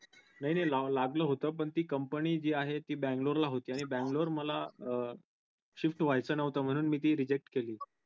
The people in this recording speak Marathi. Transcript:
नाही नाही लागलं होत पण ती company आहे ती बेंगलोर ला होती. आणि बंगलोर मला अं shift व्हायचं न्हवत म्हणून मी ती reject केली.